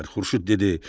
Xurşud dedi: